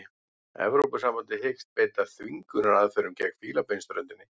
Evrópusambandið hyggst beita þvingunaraðferðum gegn Fílabeinsströndinni